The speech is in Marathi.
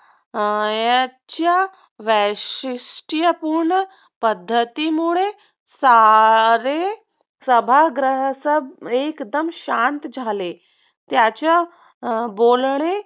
याच्या वैशिष्टपूर्ण पद्धतीमुळे सारे सभाग्रह सब एक्दम शांत झाले. त्याच्या बोलणे